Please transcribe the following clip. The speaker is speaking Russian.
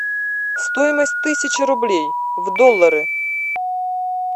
стоимость тысячи рублей в доллары